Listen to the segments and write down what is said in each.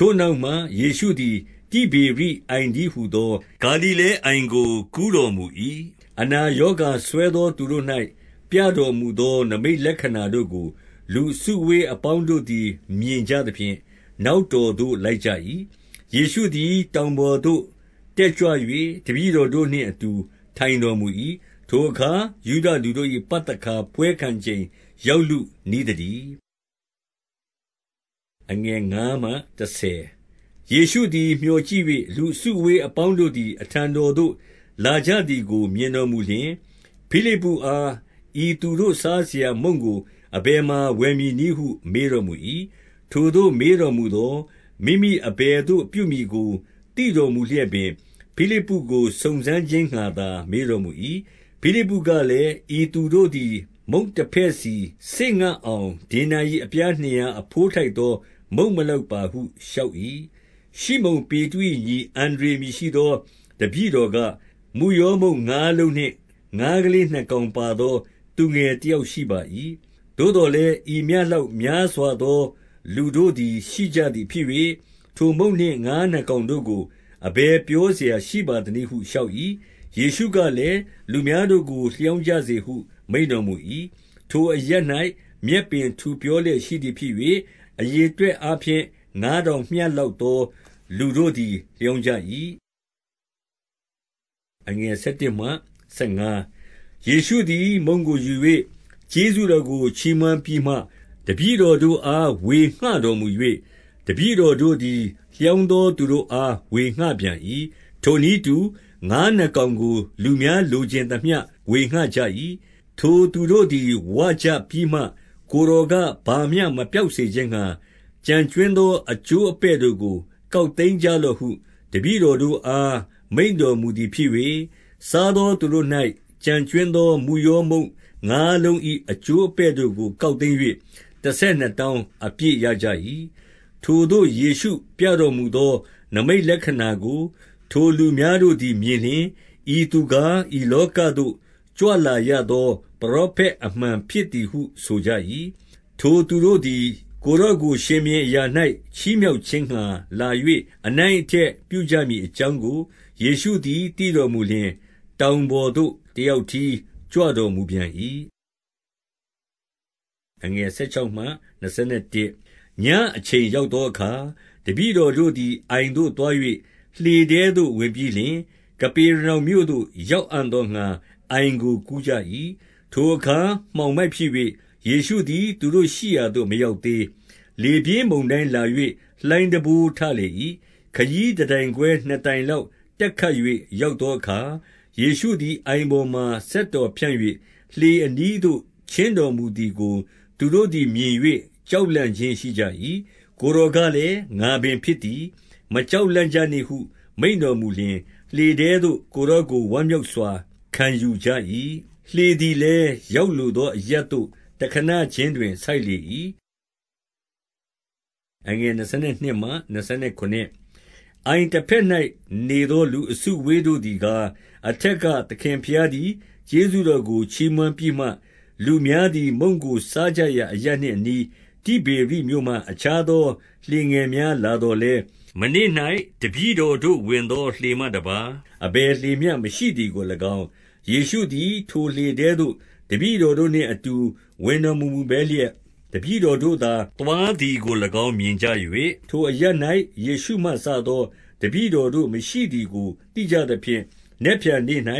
ထိုနောက်မှ ယေရှုသည် တိဗေရိအိုင်တည်းဟူသော ဂါလိလဲအိုင်ကို ကူးတော်မူ၏။ 2 အနာရောဂါစွဲသောသူတို့၌ ပြတော်မူသောနိမိတ်လက္ခဏာတို့ကို လူအစုအဝေးအပေါင်းတို့သည် မြင် ကြသဖြင့် နောက်တော်သို့ လိုက်ကြ၏။ 3 ယေရှုသည်တောင်ပေါ်သို့ တတ်ကြွ၍ တပည့်တော်တို့နှင့်အတူ ထိုင်တော်မူ၏။ 4 ထိုအခါ ယုဒလူတို့၏ပသခါပွဲခံချိန် ရောက်လုနီးသတည်း။ 5 ယေရှုသည် မျှော်ကြည့်၍ လူအစုအဝေးအပေါင်းတို့သည် အထံတော်သို့လာကြသည်ကို မြင်တော် မူလျှင်၊ ဖိလိပ္ပုအား၊ ဤသူတို့စားစရာမုန့်ကို အဘယ်မှာ ဝယ်မည်နည်းဟုမေးတော်မူ၏။ 6 ထိုသို့မေးတော်မူသော်၊ မိမိအဘယ်သို့ ပြုမည်ကိုသိတော်မူလျက်ပင် ဖိလိပ္ပုကိုစုံစမ်းခြင်းငှါသာ မေးတော်မူ၏။ 7 ဖိလိပ္ပုကလည်း၊ ဤသူတို့သည် မုန့်တဖဲ့စီစေ့အောင် ဒေနာရိအပြားနှစ်ရာအဘိုးထိုက်သောမုန့် မ လောက်ပါဟုလျှောက်၏။ 8 ရှိမုန်ပေတရု၏ညီ အန္ဒြေအမည်ရှိသော တပည့်တော်က၊ 9 မုယောမုန့်ငါးလုံးနှင့် ငါးကလေးနှစ်ကောင်ပါသော သူငယ်တယောက်ရှိပါ၏။ သို့သော်လည်း ဤမျှ လောက်များစွာသောသူတို့သည်ရှိကြသည်ဖြစ်၍၊ ထိုမုန့်နှင့် ငါးနှစ်ကောင်တို့ကို အဘယ်ပြောစရာ ရှိပါသနည်း ဟုလျှောက်၏။ 10 ယေရှုကလည်း၊ လူများတို့ကိုလျောင်းကြစေဟု မိန့်တော်မူ၏။ ထိုအရပ်၌ မြက်ပင်ထူပြောလျက်ရှိသည် ဖြစ်၍၊ အရေအတွက်အားဖြင့် ငါးထောင်မျှလောက်သော လူတို့သည် လျောင်းကြ၏။ 11 ယေရှုသည်မုန့်ကိုယူ၍ ကျေးဇူးတော်ကို ချီးမွမ်းပြီးမှ တပည့်တော်တို့အား ဝေငှတော်မူ၍၊ တပည့် တော်တို့သည် လျောင်းသောသူတို့အားဝေငှပြန်၏။ ထိုနည်းတူ ငါးနှစ်ကောင်းကိုလူများလိုချင်သမျှ ဝေငှကြ၏။ 12 ထိုသူတို့သည်ဝကြပြီးမှ ကိုယ်တော်က၊ ဘာမျှ မပျောက်စေခြင်းငှာ ကြွင်းကျန်သောအကျိုးအပဲ့တို့ကို ကောက်သိမ်းကြလော့ဟု တပည့်တော်တို့အား မိန့်တော်မူသည်ဖြစ်၍၊ 13 စားသောသူတို့၌ ကျန်ကြွင်းသော မုရောမုန့် ငါးလုံး၏ အကျိုးအပဲ့တို့ကို ကောက်သိမ်း၍ တဆယ်နှစ် တောင်းအပြည့်ရကြ၏။ 14 ထိုသို့ယေရှုပြတော်မူသော နိမိတ်လက္ခဏာကို ထိုလူများတို့သည်မြင်လျှင်၊ ဤသူကား ဤလောကသို့ ကြွလာရသော ပရောဖက်အမှန်ဖြစ်ဟု ဆိုကြ၏။ 15 ထိုသူတို့သည် ကိုယ်တော်ကို ရှင်ဘုရင်အရာ၌ ချီးမြှောက်ခြင်းငှါလာ၍ အနိုင်အထက်ပြုကြမည် အကြောင်းကို ယေရှုသည်သိတော်မူလျှင်၊ တောင်ပေါ်သို့ တယောက်တည်းကြွတော်မူပြန်၏။ 16 ညအချိန်ရောက်သောအခါ တပည့်တော်တို့သည် အိုင်သို့သွား၍ လှေထဲသို့ဝင်ရောက်ပြီးလျှင်၊ ကပေရနောင်မြို့သို့ရောက်အံ့သောငှါ အိုင်ကိုကူးကြ၏။ 17 ထိုအခါမှောင်မိုက်ဖြစ်၍ ယေရှုသည် သူတို့ ရှိရာသို့မရောက်သေး။ 18 လေပြင်းမုန်တိုင်းလာ၍ လှိုင်းတံပိုးထလေ၏။ 19 ခရီးတတိုင်ခွဲနှစ်တိုင်လောက် တက်ခတ်၍ရောက်သောအခါ၊ ယေရှုအိုင်ပေါ်မှာ စက်တော်ဖြန့်၍ လှေ အနီးသို့ချဉ်းတော်မူသည်ကို သူတို့သည်မြင်၍ ကြောင့်လန့်ခြင်းရှိကြ၏။ 20 ကိုယ်တော်ကလည်း၊ ငါပင်ဖြစ်သည်၊ မကြောင့်လန့်ကြနှင့်ဟု မိန့်တော်မူလျှင်၊ လှေထဲသို့ ကိုယ်တော် တိုင် ဝမ်းမြောက်စွာခံယူကြ၏။ 21 လှေသည်လည်းရောက်လိုသောရပ်သို့ တခဏခြင်းတွင် ဆိုက်လေ၏။ 22 အိုင်တဘက်၌နေသော လူအစုအဝေးတို့သည်ကား၊ 23 အထက်ကသခင်ဘုရားသည် ကျေးဇူးတော်ကိုချီးမွမ်းပြီးမှ၊ လူများသည် မုန့်ကိုစားကြရာ အရပ်နှင့် အနီး၊ တိဗေရိမြို့မှ အခြားသောလှေငယ်များ လာသော်လည်း၊ မနေ့၌ တပည့်တော်တို့ဝင်သော လှေမှတပါး အဘယ်လှေမျှမရှိသည်ကို၎င်း၊ ယေရှုသည်ထိုလှေထဲသို့ တပည့်တော်နှင့်အတူ ဝင်တော်မမူဘဲလျက်၊ တပည့် တော်တို့သာ သွားသည်ကို၎င်း မြင်ကြ၍၊ 24 ထိုအရပ်၌ ယေရှုမှစသော တပည့်တော်တို့မရှိသည်ကိုသိကြသဖြင့်၊ နက်ဖြန်နေ့၌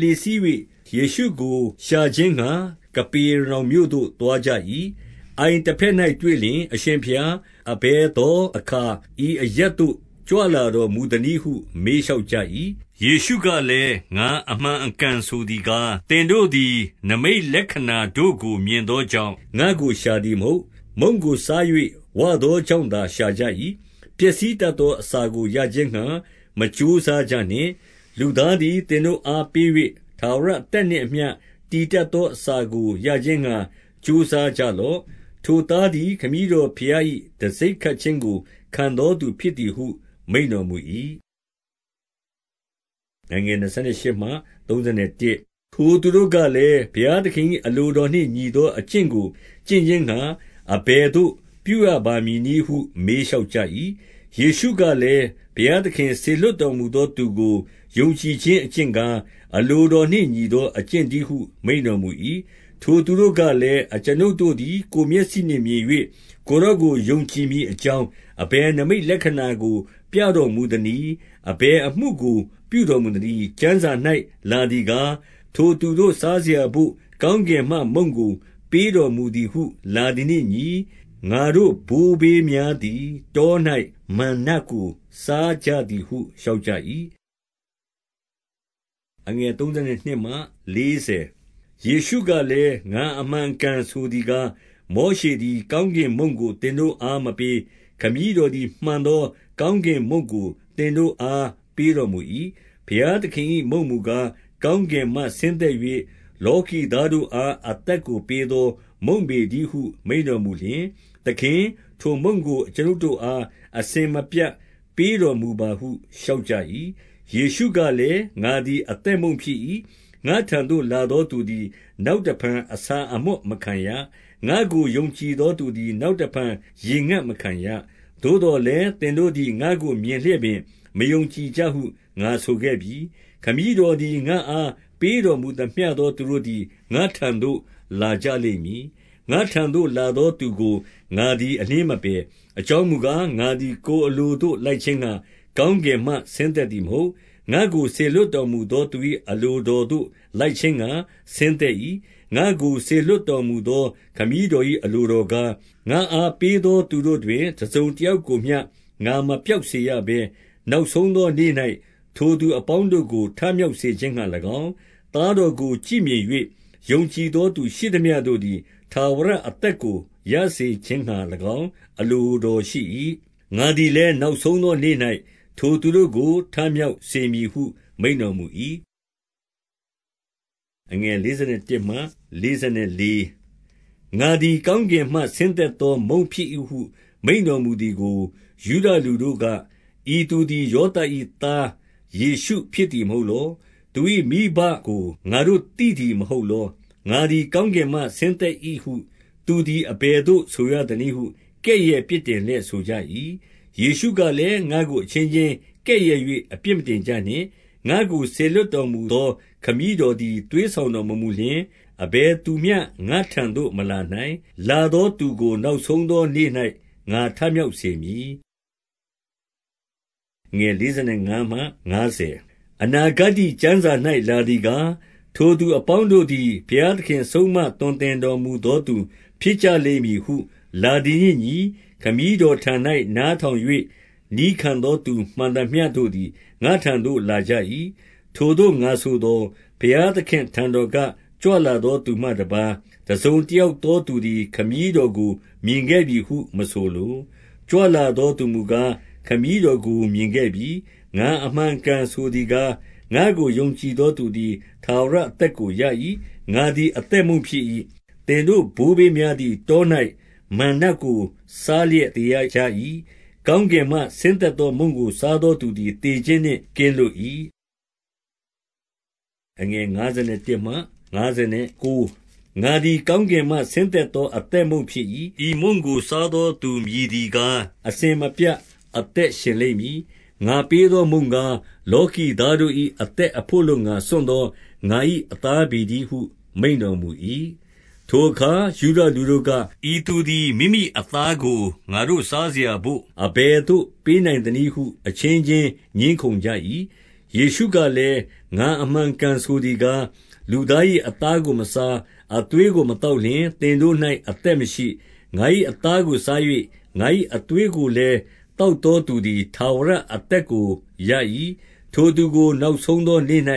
လှေစီး၍ ယေရှုကို ရှာခြင်းငှါ ကပေရနောင်မြို့သို့သွားကြ၏။ 25 အိုင်တဘက်၌တွေ့လျှင်၊ အရှင်ဘုရား၊ အဘယ်သောအခါ ဤအရပ်သို့ ကြွလာတော်မူသနည်းဟု မေးလျှောက်ကြ၏။ 26 ယေရှုကလည်း၊ ငါအမှန်အကန်ဆိုသည်ကား၊ သင်တို့သည်နိမိတ်လက္ခဏာတို့ကို မြင်သောကြောင့် ငါ့ကိုရှာသည်မဟုတ်။ 27 မုန့်ကို စား၍ဝသောကြောင့်သာ ရှာကြ၏။ ပျက်စီးတတ်သောအစာကိုရခြင်းငှါ မကြိုးစားကြနှင့်။ လူသားသည် သင်တို့အား ပေး၍ ထာဝရအသက်နှင့်အမျှ တည်တတ်သောအစာကိုရခြင်းငှါ ကြိုးစားကြလော့။ ထိုသားသည် ခမည်းတော်ဘုရား၏တံဆိပ်ခတ်ခြင်းကို ခံသောသူဖြစ်သည်ဟု မိန့်တော်မူ၏။ 28 ထိုသူတို့ကလည်း။ ဘုရားသခင်၏ အလိုတော်နှင့်ညီသော အကျင့်ကိုကျင့်ခြင်းငှါ အဘယ်သို့ ပြုရ ပါမည်နည်းဟု မေးလျှောက်ကြ၏။ 29 ယေရှုကလည်း၊ ဘုရားသခင်စေလွှတ်တော်မူသောသူကို ယုံကြည်ခြင်းအကျင့်ကား၊ အလိုတော်နှင့် ညီသောအကျင့်တည်းဟု မိန့်တော်မူ၏။ 30 ထိုသူတို့ကလည်း၊ အကျွန်ုပ်တို့သည် ကိုယ်မျက်စိနှင့်မြင်၍ ကိုယ်တော်ကိုယုံကြည်မည်အကြောင်း အဘယ်နိမိတ်လက္ခဏာကို ပြတော်မူသနည်း။ အဘယ်အမှုကို ပြုတော်မူသနည်း။ 31 ကျမ်းစာ၌လာသည်ကား၊ ထိုသူတို့ စားစရာဘို့ ကောင်းကင်မှမုန့်ကို ပေးတော်မူသည်ဟု လာသည်နှင့် အညီ၊ ငါတို့ဘိုးဘေးများသည်တော၌ မန္နကိုစားကြသည်ဟု လျှောက်ကြ၏။ 32 ယေရှုကလည်း၊ ငါအမှန်အကန်ဆိုသည်ကား၊ မောရှသည် ကောင်းကင်မုန့်ကို သင်တို့အားမပေး၊ ခမည်းတော်သည် မှန်သောကောင်းကင်မုန့်ကို သင်တို့အား ပေးတော်မူ၏။ 33 ဘုရားသခင်၏မုန့်မူကား၊ ကောင်းကင်မှဆင်းသက်၍ လောကီသားတို့အားအသက်ကို ပေးသောမုန့် ပေတည်းဟုမိန့်တော်မူလျှင်၊ 34 သခင်၊ ထိုမုန့်ကိုအကျွန်ုပ်တို့အား အစဉ်မပြတ်ပေးတော်မူပါဟု လျှောက်ကြ၏။ 35 ယေရှုကလည်း၊ ငါသည်အသက်မုန့်ဖြစ်၏။ ငါ့ထံသို့လာသောသူသည် နောက်တဖန် အဆာအမွတ် မခံရ။ ငါ့ကို ယုံကြည်သောသူသည် နောက်တဖန် ရေငတ်မခံရ။ 36 သို့သော်လည်းသင်တို့သည် ငါ့ကိုမြင်လျက်ပင် မယုံကြည်ကြဟု ငါဆိုခဲ့ပြီ။ 37 ခမည်းတော်သည် ငါ့အား ပေးတော်မူသမျှသောသူတို့သည် ငါထံသို့လာကြလိမ့်မည်။ ငါ့ထံသို့လာ သောသူကို ငါသည်အလျင်မပယ်။ 38 အကြောင်းမူကား၊ ငါသည် ကိုယ်အလိုသို့လိုက်ခြင်းငှါ ကောင်းကင်မှဆင်းသက်သည်မဟုတ်။ ငါ့ကို စေလွှတ်တော်မူသောသူ၏ အလိုတော်သို့လိုက်ခြင်းငှါ ဆင်းသက်၏။ 39 ငါ့ကိုစေလွှတ်တော်မူသောခမည်းတော်၏ အလိုတော်ကား၊ ငါ့အားပေးသောသူတို့တွင် တစုံတယောက် ကိုမျှ ငါမပျောက်စေရဘဲ၊ နောက်ဆုံးသောနေ့၌ ထိုသူအပေါင်းတို့ကို ထမြောက်စေခြင်းငှါ၎င်း၊ 40 သားတော်ကို ကြည့်မြင်၍ ယုံကြည်သောသူရှိသမျှတို့သည် ထာဝရအသက်ကိုရစေခြင်းငှါ၎င်း အလို တော်ရှိ၏။ ငါသည်လည်းနောက်ဆုံးသောနေ့၌ ထိုသူတို့ကို ထမြောက်စေမည်ဟု မိန့်တော်မူ၏။ 41 ငါသည်ကောင်းကင်မှဆင်းသက်သောမုန့်ဖြစ်၏ဟု မိန့်တော်မူသည်ကို ယုဒလူတို့က၊ 42 ဤသူသည် ယောသပ်၏သား ယေရှုဖြစ်သည်မဟုတ်လော။ သူ၏မိဘကိုငါတို့သိသည်မဟုတ်လော။ ငါသည် ကောင်းကင်မှဆင်းသက်၏ဟု သူသည်အဘယ်သို့ဆိုရသနည်းဟု ကဲ့ရဲ့ပြစ်တင်လျက် ဆိုကြ၏။ 43 ယေရှုကလည်း၊ ငါ့ကိုအချင်းချင်းကဲ့ရဲ့၍ အပြစ်မတင်ကြနှင့်။ 44 ငါ့ကို စေလွှတ်တော်မူသောခမည်းတော်သည် သွေးဆောင်တော်မမူလျှင်၊ အဘယ်သူမျှ ငါ့ထံသို့ မလာ နိုင်။ လာသောသူကိုနောက်ဆုံသောနေ့၌ ငါထမြောက်စေမည်။ 45 အနာဂတ္တိကျမ်းစာ၌လာသည်ကား၊ ထိုသူအပေါင်းတို့သည် ဘုရားသခင်ဆုံးမသွန်သင်တော်မူသောသူ ဖြစ်ကြလိမ့်မည်ဟုလာသည်နှင့်အညီ။ ခမည်းတော်ထံ၌နားထောင်၍ နည်းခံသောသူမှန်သမျှတို့သည် ငါ့ထံသို့ လာကြ၏။ 46 ထိုသို့ငါဆိုသော၊ ဘရားသခင့်အထံတော်က ကြွလာသောသူမှတပါး တစုံတယောက်တယောက်သော သူသည် ခမည်းတော်ကိုမြင်ခဲ့ပြီဟု မဆိုလို။ ကြွလာသောသူဟူမူကား၊ ခမည်းတော်ကို မြင်ခဲ့ပြီ။ 47 ငါအမှန်အကန်ဆိုသည်ကား၊ ငါ့ကို ယုံကြည်သောသူသည် ထာဝရအသက်ကိုရ၏။ 48 ငါသည်အသက်မုန့်ဖြစ်၏။ 49 သင်တို့ဘိုးဘေးများသည် တော၌မန္နကိုစားလျက် သေရကြ၏။ 50 ကောင်းကင်မှဆင်းသက်သောမုန့်ကို စားသောသူသည် သေခြင်းနှင့်ကင်းလွတ်၏။ 51 ငါသည်ကောင်းကင်မှဆင်းသက်သောအသက်မုန့်ဖြစ်၏။ ဤမုန့်ကို စားသောသူမည်သည်ကား၊ အစဉ် မပြတ်အသက်ရှင်လိမ့်မည်။ ငါပေးသောမုန့်ကား၊ လောကီသားတို့၏ အသက်အဘို့အလိုငှါ စွန့်သောငါ၏ အသားပေတည်းဟုမိန့်တော်မူ၏။ 52 ထိုအခါ ယုဒလူတို့က၊ ဤသူသည်မိမိအသားကို ငါတို့စားစရာဘို့အဘယ်သို့ ပေးနိုင်သနည်းဟု အချင်းချင်း ငြင်းခုံကြ၏။ 53 ယေရှုကလည်း၊ ငါအမှန်အကန်ဆိုသည်ကား၊ လူ၏အသားကိုမစား၊ အသွေးကိုမသောက်လျှင် သင် တို့၌ အသက်မရှိ။ 54 ငါ၏အသားကိုစား၍ ငါ၏အသွေးကိုလည်း သောက်သောသူသည် ထာဝရအသက်ကိုရ၏။ ထိုသူကို နောက်ဆုံးသောနေ့၌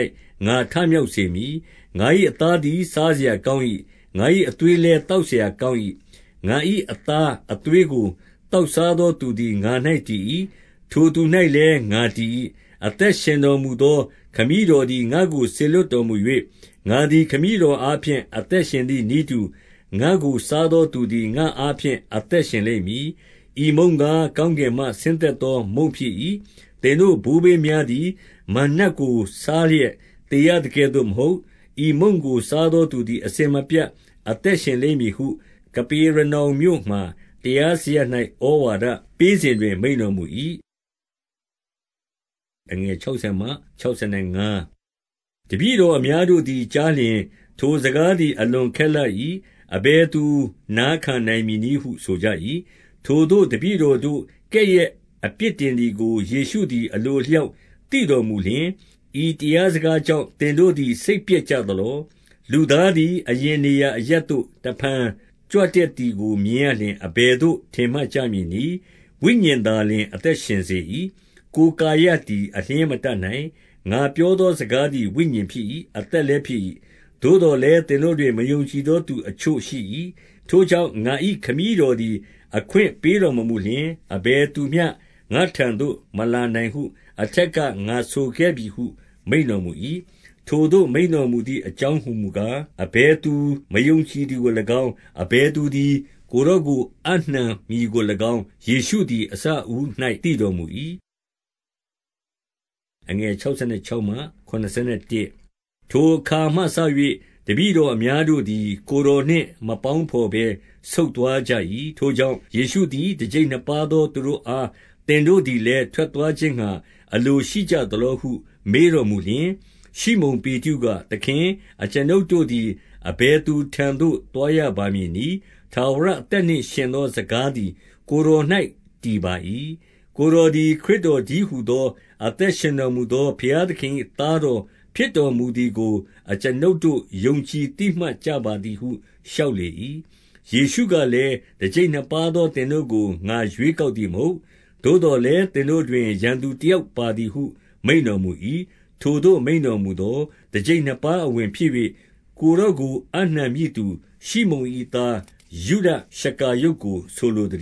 ငါထမြောက်စေမည်။ 55 ငါ၏အသားသည် စားစရာကောင်း၏။ ငါ၏ အသွေးလည်းသောက်စရာကောင်း၏။ 56 ငါ၏အသားအသွေးကို သောက်စားသောသူသည် ငါ၌တည်၏။ ထိုသူ၌လည်း ငါတည်၏။ 57 အသက်ရှင်တော်မူသော ခမည်းတော်သည် ငါ့ကိုစေလွှတ်တော်မူ၍၊ ငါသည်ခမည်းတော်အားဖြင့် အသက်ရှင်သည်နည်းတူ၊ ငါ့ကိုစားသောသူသည် ငါ့အားဖြင့် အသက်ရှင်လိမ့်မည်။ 58 ဤမုန့်ကား၊ ကောင်းကင်မှဆင်းသက်သောမုန့်ဖြစ်၏။ သင်တို့ ဘိုးဘေးများသည် မန္နကိုစားလျက် သေရသကဲ့သို့မဟုတ်။ ဤမုန့်ကိုးစားသောသူသည် အစဉ်မပြတ်အသသက်ရှင်လိမ့်ဟု၊ 59 ကပေရနောင်မြို့မှာရားစရပ်၌ ဩဝါဒပေးစဉ်တွင် မိန့်တော်မူ၏။ 60 တပည့်တော်အများတို့သည် ကြားလျှင်၊ ထိုစကားသည် အလွန်ခက်လှ၏။ အဘယ်သူနာခံနိုင်မည် နည်းဟု ဆိုကြ၏။ 61 ထိုသို့တပည့်တော်တို့ ကဲ့ရဲ့ဖြစ်တင်သည်ကို ယေရှုသည်အလိုအလျောက်သိတော်မူလျှင်၊ ဤတရား စကားကြောင့် သင်တို့သည် စိတ်ပျက်ကြသလော့။ 62 လူသားသည်အရင်နေရာအရပ်သို့တဖန် ကြွတတ်သည်ကိုမြင်ရလျှင် အဘယ်သို့ ထင်မှတ်ကြမည် နည်း။ 63 ဝိညာဉ်သာလျှင်အသက်ရှင်စေ၏။ ကိုယ်ကာယသည်အလျှင်မတတ်နိုင်။ ငါပြောသောစကားသည် ဝိညာဉ်ဖြစ်၏။ အသက်လည်းဖြစ်၏။ 64 သို့သော်လည်းသင်တို့တွင် မယုံကြည်သောသူတချို့ရှိ၏။ 65 ထိုကြောင့် ငါ၏ခမည်းတော်သည် အခွင့်ပေးတော်မမူလျှင်၊ အဘယ်သူမျှငါထံသို့မလာနိုင်ဟု အထက် ငါဆိုခဲ့ပြီဟု မိန့်တော်မူ၏။ ထိုသိုမိန့်တော်မူသည် အကြောင်းဟူမူကား၊ အဘယ်သူမယုံကြည်သည်ကို၎င်း၊ အဘယ်သူသည် ကိုယ်တော်ကို အပ်နှံမည်ကို၎င်း၊ ယေရှုသည်အစအဦး၌ သိတော်မူ၏။ 66 ထိုအခါမှစ၍ တပည့်တော်များတို့သည် ကိုယ်တော်နှင့်မပေါင်းဘော်ဘဲ ဆုတ်သွားကြ၏။ 67 ထိုကြောင့် ယေရှုသည် တကျိပ်နှစ်ပါးသောသူတို့အား၊ သင်တို့သည်လည်း ထွက်သွားခြင်းငှါ အလိုရှိ ကြသလောဟုမေးတော်မူလျှင်၊ 68 ရှိမုန်ပေတရုက၊ သခင်၊ အကျွန်ုပ်တို့သည် အဘယ်သူထံသို့ သွားရမည်နည်း။ ထာဝရအသက်နှင့် ယှဉ်သော စကားသည်ကိုယ်တော်၌ တည်ပါ၏။ 69 ကိုယ်တော်သည် ခရစ်တော်တည်းဟူသော အသက်ရှင်တော်မူသော ဘုရားသခင်၏သားတော် ဖြစ် တော်မူသည်ကို အကျွန်ုပ်တို့ယုံကြည် သိမှတ်ကြပါသည်ဟုလျှောက်လေ၏။ 70 ယေရှုကလည်း၊ တကျိပ်နှစ်ပါးသောသင်တို့ကို ငါရွေးကောက်သည်မဟုတ်လော။ သို့သော်လည်း သင် တို့တွင် ရန်သူတယောက်ပါမည်ဟု မိန့်တော်မူ၏။ 71 ထိုသို့မိန့်တော်မူသော်၊ ထကျိပ်နှစ်ပါးအဝင်ဖြစ်၍ ကိုယ်တော်ကိုအပ်နှံမည်သူ၊ ရှိမုန်၏သား ယုဒရှကာရုတ်ကိုဆိုလိုသ